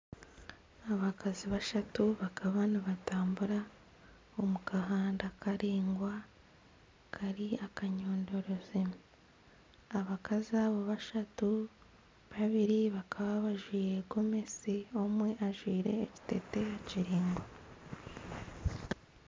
Abakazi bashatu bakaba nibatambura omu kahanda karaingwa kari akayondorezi, abakazi aba bashatu, babiri bakaba bajwire gomesi omwe ajwire ekiteteeyi kiringwa.